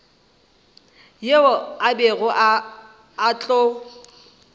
yeo a bego a tlo